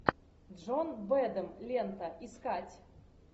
джон бэдом лента искать